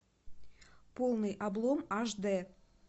полный облом аш дэ